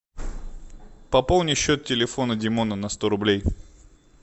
пополни счет телефона димона на сто рублей